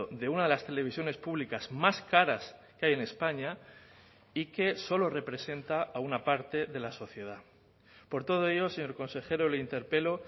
de una de las televisiones públicas más caras que hay en españa y que solo representa a una parte de la sociedad por todo ello señor consejero le interpelo